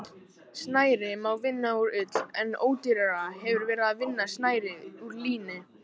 Snæri má vinna úr ull en ódýrara hefur verið að vinna snæri úr líni.